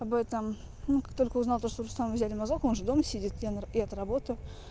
об этом ну как только узнал что у руслана взяли мазок он же дома сидит я на я то работаю